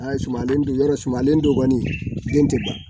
Aa sumale don yɔrɔ sumalen don kɔni den tɛ ban.